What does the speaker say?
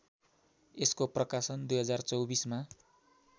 यसको प्रकाशन २०२४ मा